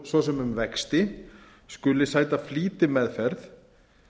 svo sem um vexti skuli sæta flýtimeðferð